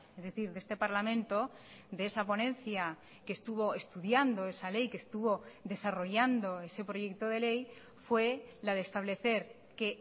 es decir de este parlamento de esa ponencia que estuvo estudiando esa ley que estuvo desarrollando ese proyecto de ley fue la de establecer que